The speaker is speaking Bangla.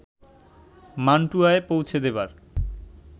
মান্টুয়ায় পৌঁছে দেবার